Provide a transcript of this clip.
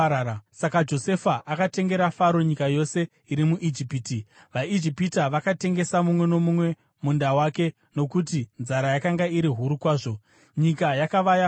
Saka Josefa akatengera Faro nyika yose iri muIjipiti. VaIjipita vakatengesa, mumwe nomumwe munda wake, nokuti nzara yakanga iri huru kwazvo. Nyika yakava yaFaro,